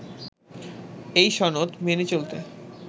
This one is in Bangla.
এই সনদ মেনে চলতে